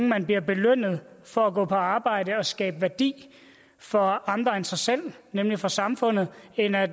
man bliver belønnet for at gå på arbejde og skabe værdi for andre end sig selv nemlig for samfundet end at